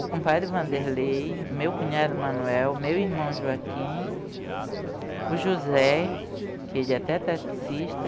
O compadre Wanderlei, meu cunhado Manuel, meu irmão Joaquim, o José, que ele é até taxista,